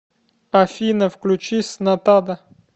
афина включи снатада